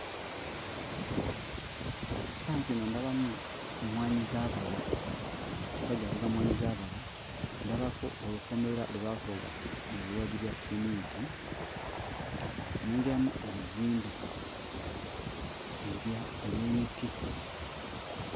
Kifaananyi kino ndabamu emmwanyizaabala omusajja avuga mmwanyizaabala ndabako olukomera lwe baakola mu biwagi bwa sseminti nengeramu ebizimbe ebya eby'emiti.